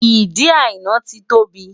Ìdí Àìná ti ń tóbi.